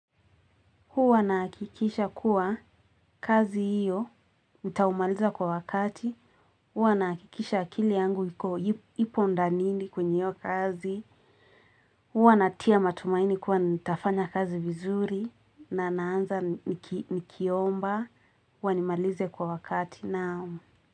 Huwa nahakikisha kuwa, kazi hiyo, nitaimaliza kwa wakati. Huwa nahakikisha akili yangu hiko hipo ndani kwenye hiyo kazi. Huwa natia matumaini kuwa nitafanya kazi vizuri na naanza nikiomba. Huwa nimalize kwa wakati na.